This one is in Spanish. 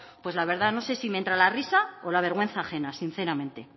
pues la verdad no sé si me entra la risa o la vergüenza ajena sinceramente